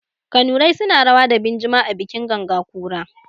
Kanurai suna rawa da binjima a bikin ganga ƙura.